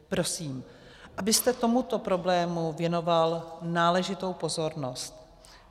Prosím, abyste tomuto problému věnoval náležitou pozornost.